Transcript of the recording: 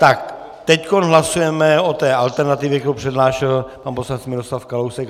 Tak teď hlasujeme o té alternativě, kterou přednášel pan poslanec Miroslav Kalousek.